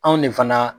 Anw ne fana